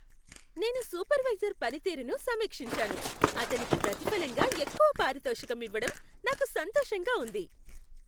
నేను సూపర్వైజర్ పనితీరును సమీక్షించాను, అతనికి ప్రతిఫలంగా ఎక్కువ పారితోషకం ఇవ్వడం నాకు సంతోషంగా ఉంది.